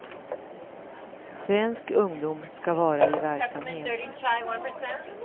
Svensk ungdom ska vara i verksamhet.